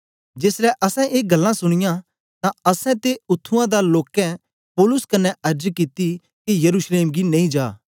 जेसलै असैं ए गल्लां सुनीयां तां असैं ते उत्त्थुआं दे लोकें पौलुस कन्ने अर्ज कित्ती के यरूशलेम गी नेई जा